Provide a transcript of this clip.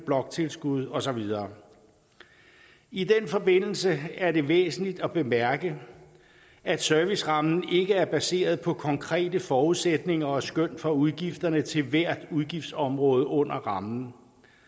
bloktilskud og så videre i den forbindelse er det væsentligt at bemærke at servicerammen ikke er baseret på konkrete forudsætninger og skøn for udgifterne til hvert udgiftsområde under rammen